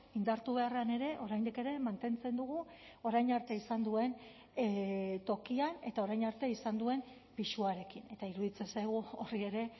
indartu beharrean ere oraindik ere mantentzen dugu orain arte izan duen tokian eta orain arte izan duen pisuarekin eta iruditzen zaigu horri ere